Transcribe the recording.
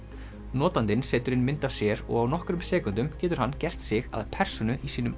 notandinn setur inn mynd af sér og á nokkrum sekúndum getur hann gert sig að persónu í sínum